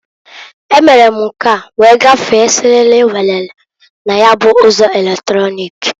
E mere m nke a wee gafee siriri werere na ya bụ ụzọ eletrọnịk.